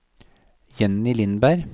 Jenny Lindberg